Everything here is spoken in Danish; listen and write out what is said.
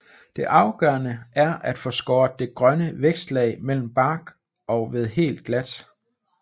Det afgørende er at få skåret det grønne vækstlag mellem bark og ved helt glat